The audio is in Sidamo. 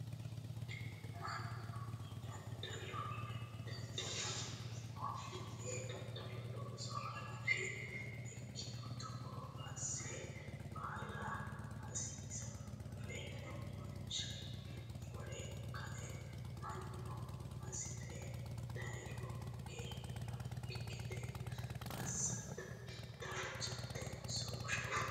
Mannu daddalo daddaleemmo yee daddalu looso hanafiha ikkiro togo asse baala hasiisawoore wonshe wore ka'e mannu hasire dayiire hooge haraakki gede assa danchatenso Bushate?